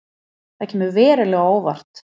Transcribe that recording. Það kemur verulega á óvart